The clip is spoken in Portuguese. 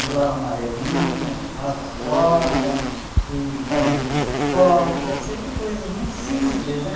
Pulava amarelinha, pulava corda e fazíamos pipoca, sempre coisas muito simples, né?